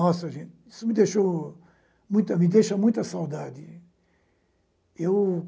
Nossa, gente, isso me deixou, muita, me deixa com muita saudade. Eu